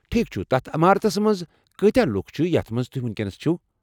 ٹھیک چُھ، تتھ عمارتس منٛز کٲتہہ لوٗکھ چھِ یتھ منٛز تُہۍ وُنکینس چھِوٕ؟